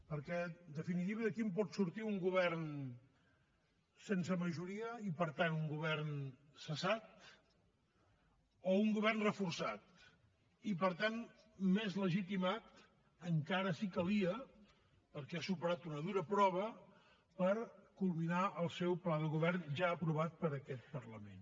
perquè en definitiva d’aquí en pot sortir un govern sense majoria i per tant un govern cessat o un govern reforçat i per tant més legitimat encara si calia perquè haurà superat una dura prova per culminar el seu pla de govern ja aprovat per aquest parlament